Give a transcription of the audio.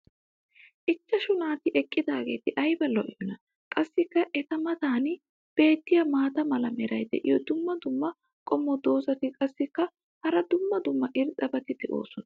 ichchashu naati eqqidaageeti ayba lo'iyoonaa. qassi eta matan beetiya maata mala meray diyo dumma dumma qommo dozzati qassikka hara dumma dumma irxxabati doosona.